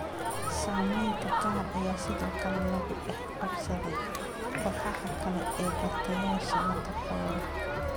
Saamaynta qaar ayaa sidoo kale lagu dhex qabsaday kooxaha kale ee bartayaasha la takooro.